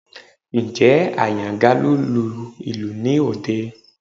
Ǹjẹ́ Àyàngalú ń lùlù ní òde?